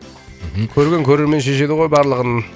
мхм көрген көрермен шешеді ғой барлығын